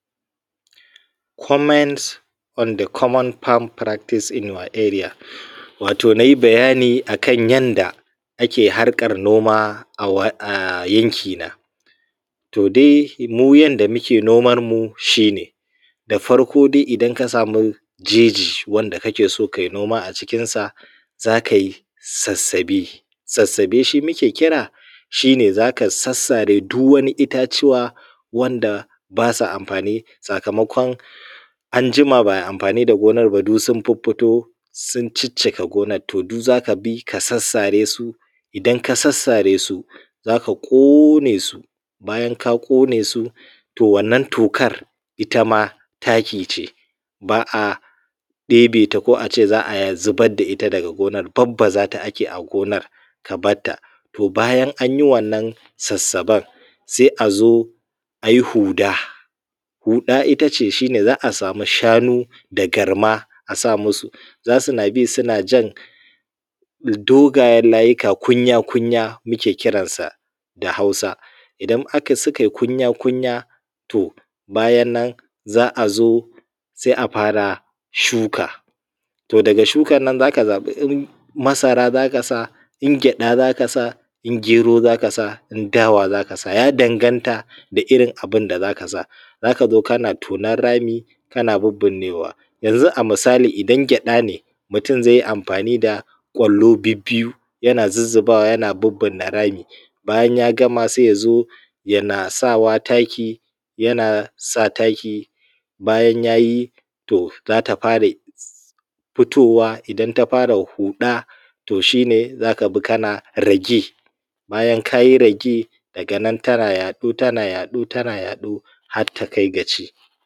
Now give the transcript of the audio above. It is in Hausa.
Comment on the common farm practice in your area. Wato na yi bayani akan yadda ake harkan noma a yanki na. To dai mu yarda muke noman mu, shi ne da farko dai idan ka samu jeje wanda kake so kai noma a cikin sa, za kai sassabe, sassabe shi muke kira shi ne zaka sassare duk wani itatuwa wanda ba sa amfani, sakamakon an jima ba ai amfani da gonar ba, duk sun fiffito sun ciccika gonan. To duk za ka bi ka sassare, su idan ka sassare su, za ka ƙone su. Bayan ka ƙone su, to wannan tokar ita ma taki ce, ba a ɗebe ta ko a ce za a zubar da ita daga gonar. Barbaza ta ake a gonar ka barta. To bayan an yi wannan sassaben, sai a zo ayi huɗa. huɗa itace za a samu shanu da garma a sa musu za su na bi suna jan dogayen layuka kunya kunya muke kiransa da hausa. Idan su kai kunya kunya to bayan nan za a zo sai a fara shuka. To daga shukan nan za ka zaɓi in masara za ka sa, in gyaɗa za ka sa, in gero za ka sa, in dawa za ka sa. Ya danganta da irin abun da za ka sa. Za ka zo kana tonon rami kana birbinnewa. Yanzu a misali idan gyaɗa ne mutum zai yi amfani da ƙwallo bibbiyu, yana zuzzubawa, yana bibbinne rami. Bayan ya gama sai ya zo yana sawa taki, yana sa taki. Bayan yayi to, za ta fara fitowa, idan ta fara huɗa to shi ne za ka bi kana ragi, bayan kayi ragi daganan tana yaɗo tana yaɗo tana yaɗo har ta kai ga ci.